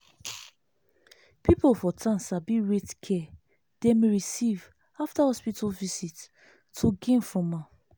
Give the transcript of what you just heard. people for town sabi rate care dem receive after hospital visit to gain from am.